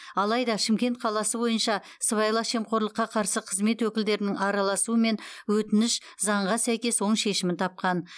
алайда шымкент қаласы бойынша сыбайлас жемқорлыққа қарсы қызмет өкілдерінің араласуымен өтініш заңға сәйкес оң шешімін тапқан